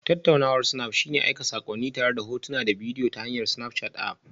Tattaunawar snap shine aika saƙonni tare da hotuna da bidiyo ta hanyar Snapchat App